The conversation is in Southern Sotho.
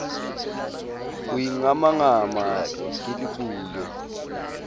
ho ingamangama ke le bule